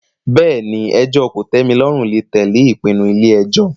Bẹ́ẹ̀ ni, ẹjọ́ kòtẹ́milọ́rùn lè tẹ̀lé ìpinnu ilé ẹjọ́